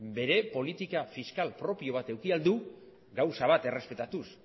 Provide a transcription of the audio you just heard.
bere politika fiskal propio bat eduki al du gauza bat errespetatuz